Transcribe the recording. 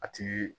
A ti